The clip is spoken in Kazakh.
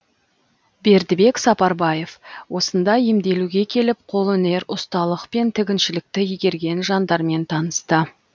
бердібек сапарбаев осында емделуге келіп қолөнер ұсталық пен тігіншілікті игерген жандармен танысты